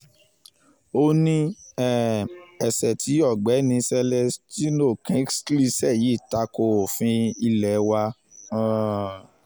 ó ní um ẹ̀ṣẹ̀ tí ọ̀gbẹ́ni celestino kingsley ṣe yìí ta ko òfin ilé wa um